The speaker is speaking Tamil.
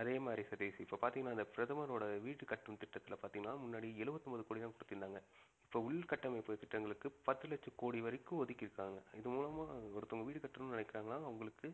அதேமாதிரி சதீஷ் இப்ப பார்த்தீங்கனா இந்த பிரதமரோட வீடு கட்டும் திட்டத்தில பார்த்தீங்கனா முன்னாடி எழுவத்தி ஒன்பது கோடிதான் குடுத்திருந்தாங்க இப்ப உள்கட்டமைப்பு திட்டங்களுக்கு பத்து லட்சம் கோடி வரைக்கும் ஒதுக்கிருக்காங்க இது மூலமா ஒருத்தவங்க வீடு கட்டணும் நினைக்கிறாங்கனா அவங்களுக்கு